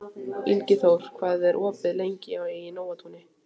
Ingiþór, hvað er opið lengi í Nóatúni?